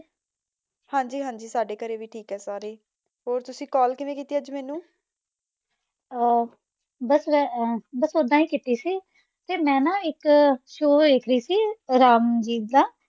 ਹਾਂਜੀ ਹਾਂਜੀ ਸਾਡੇ ਘਰੇ ਵੀ ਠੀਕ ਹੈ ਸਾਰੇ ਈ, ਹੋਰ ਤੁਸੀ ਕਾੱਲ ਕਿਵੇਂ ਕੀਤੀ ਅੱਜ ਮੈਨੂੰ ਅਮ ਬਸ ਮੈਂ ਅਮ ਬਸ ਓਦਾਂ ਹੀ ਕੀਤੀ ਸੀ ਤੇ ਮੈਂ ਨਾ ਇਕ ਸ਼ੋਅ ਵੇਖ ਰਹੀ ਸੀ ਰਾਮ ਜੀ ਦਾ ।